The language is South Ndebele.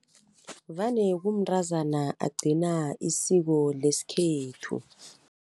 Vane kumntrazana agcina isiko leskhethu.